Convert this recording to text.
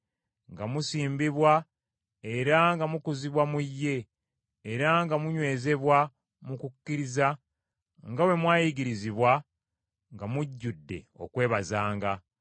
nga musimbibwa era nga mukuzibwa mu ye, era nga munywezebwa mu kukkiriza nga bwe mwayigirizibwa, nga mujjudde okwebazanga.